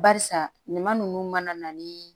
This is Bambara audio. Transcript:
Barisa ɲuman ninnu mana na ni